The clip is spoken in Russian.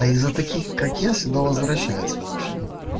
а из-за таких как я всегда возвращается вообще-то